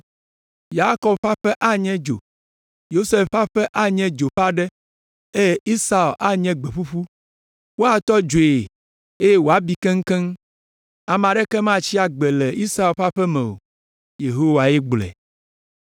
Yakob ƒe aƒe anye dzo, Yosef ƒe aƒe anye dzo ƒe aɖe eye Esau anye gbe ƒuƒu. Woatɔ dzoe eye wòabi keŋkeŋ. Ame aɖeke matsi agbe le Esau ƒe aƒe me o.” Yehowae gblɔe.